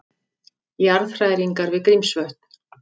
Jarðhræringar við Grímsvötn